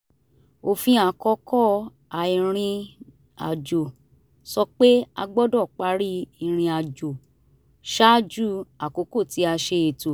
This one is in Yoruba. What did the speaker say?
òfin àkókò àìrìnàjò sọ pé a gbọ́dọ̀ parí irinàjò ṣáájú àkókò tí a ṣe ètò